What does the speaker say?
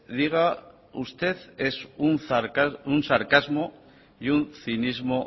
diga usted es un sarcasmo y un cinismo